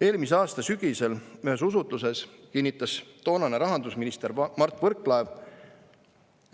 Eelmise aasta sügisel ühes usutluses kinnitas toonane rahandusminister Mart Võrklaev,